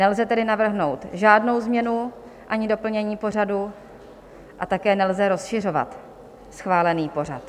Nelze tedy navrhnout žádnou změnu ani doplnění pořadu a také nelze rozšiřovat schválený pořad.